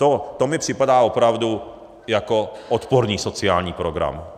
To mi připadá opravdu jako odporný sociální program.